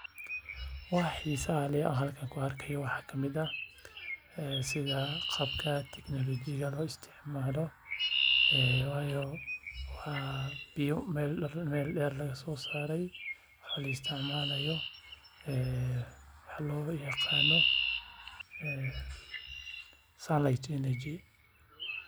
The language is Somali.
Waxa xiisaha leh aan halkan ku arki haayo waxaa kamid ah qaabka teknolojiyada looga isticmaala biya ayaa meel deer laga soo saari haaya.